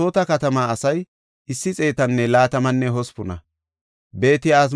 Loodan, Hadidaninne Onon de7iya asay 721;